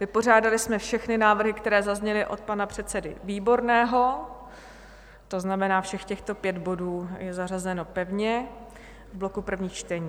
Vypořádali jsme všechny návrhy, které zazněly od pana předsedy Výborného, to znamená, všech těchto pět bodů je zařazeno pevně v bloku prvních čtení.